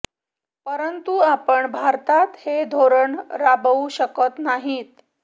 परंतु आपण भारतात हे धोरण राबवू शकत नाहीत